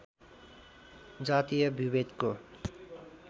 जातीय विभेदको